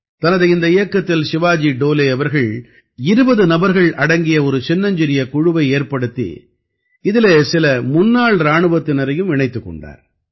தனது இந்த இயக்கத்தில் சிவாஜி டோலே அவர்கள் 20 நபர்கள் அடங்கிய ஒரு சின்னஞ்சிறிய குழுவை ஏற்படுத்தி இதிலே சில முன்னாள் இராணுவத்தினரையும் இணைத்துக் கொண்டார்